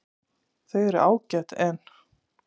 Þau eru ágæt en.